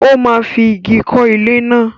Ó máa fi ìgi kọ́ ilé náà.